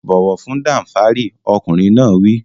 Bọ̀wọ̀ fún Danfari! Ọkùnrin náà wí.